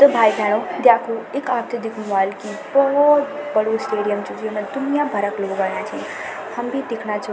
तो भाई भैनो द्याखू ईख आपथे दीखनु वाल की बोहोत बडू स्टेडियम च जेमा दुनिया भर क लोग अयां छी हम भी दिखणा छौ --